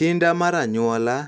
Kinda mar anyuola,